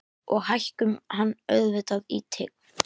Og hækkum hann auðvitað í tign.